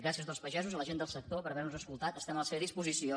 gràcies als pagesos a la gent del sector per haver·nos escoltat estem a la seva disposició